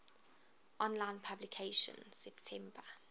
online publication september